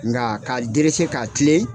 Nga k'a derese k'a tilen